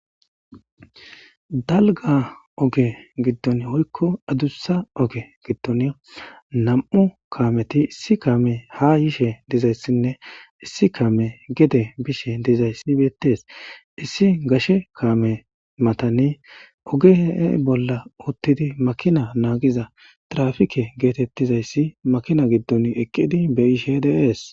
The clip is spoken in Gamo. dalga oge giddon woykko addussa oge giddon nam7u kaameti issi kaame ha yishe dizayssinne issi kaame gede bishe dizayssi beettees issi gashe kaame matani oge bolla uttidi makina naagiza trafike geetettizayssi makina giddon eqqidi beyishe de7es